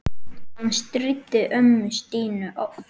Hann stríddi ömmu Stínu oft.